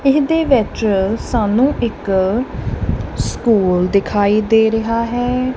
ਇਹਦੇ ਵਿੱਚ ਸਾਨੂੰ ਇੱਕ ਸਕੂਲ ਦਿਖਾਈ ਦੇ ਰਿਹਾ ਹੈ।